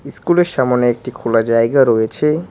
ইস্কুলের -এর সামোনে একটি খোলা জায়গা রয়েছে।